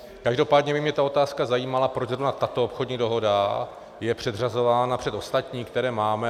Každopádně by mě ta otázka zajímala, proč zrovna tato obchodní dohoda je předřazována před ostatní, které máme.